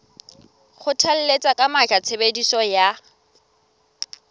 kgothalletsa ka matla tshebediso ya